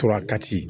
Tora kati